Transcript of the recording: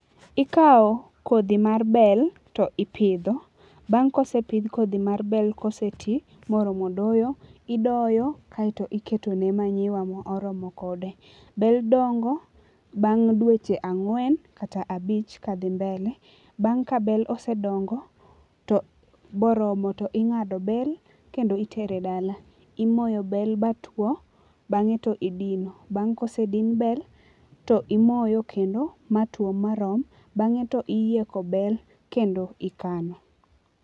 Ikawo kodhi mar bel to ipidho. Bang' kosepidh kodhi mar bel koseti moromo doyo idoyo kaeto iketo ne manyiwa moromo kode. Bel dongo bang' dweche ang'wen kata abich kadhi mbele. Bang' kabel osedongo to moromo to ing'ado bel kendo itere dala. Imoyo bel matuo bang'e to idino. Bang' kosedin bel to imoyo kendo matuo marom bang'e to iyieko bel kendo ikano.